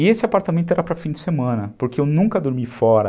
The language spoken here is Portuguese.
E esse apartamento era para fim de semana, porque eu nunca dormi fora.